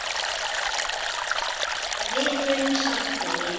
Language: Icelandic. Við munum sakna þín.